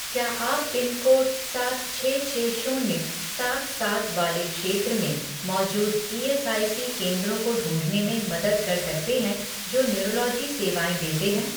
क्या आप पिनकोड सात छः छः शून्य सात सात वाले क्षेत्र में मौजूद ईएसआईसी केंद्रों को ढूँढने में मदद कर सकते हैं जो न्यूरोलॉजी सेवाएँ देते हैं